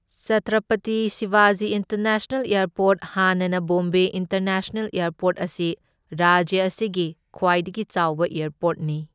Chhatrapati Shivaji international airport ꯍꯥꯟꯅꯅ Bombay international airport ꯑꯁꯤ ꯔꯥꯖ꯭ꯌ ꯑꯁꯤꯒꯤ ꯈ꯭ꯋꯥꯏꯗꯒꯤ ꯆꯥꯎꯕ ꯑꯦꯔꯄꯣꯔ꯭ꯠꯅꯤ꯫